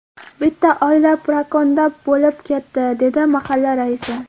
Bitta oila parokanda bo‘lib ketdi”, dedi mahalla raisi.